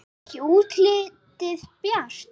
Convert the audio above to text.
Ekki er útlitið bjart!